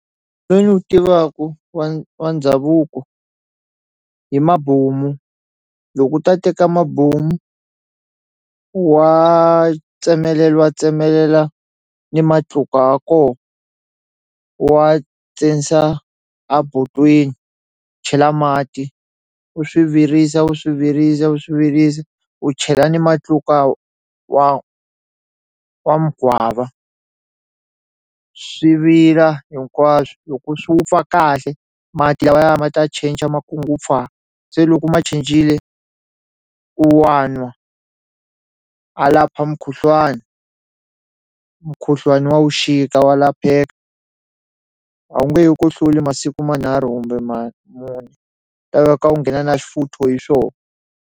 Lowu ni wu tivaku wa wa ndhavuko hi mabomu loko u ta teka mabomu u wa tsemeleliwa tsemelela ni matluka ya ko u wa a botweni chela mati u swi virisa u swi virisa u swi virisa u chela ni matluka wa wa mugwava swi vila hinkwaswo loko swi wupfa kahle mati lawaya ma ta cinca se loko ma cincile u wa nwa a lapha mukhuhlwani mukhuhlwani wa wuxika wa lapheka a wu nge he ku hluli masiku manharhu kumbe ma mune ku ta laveka u nghena na xifuthu hi swona.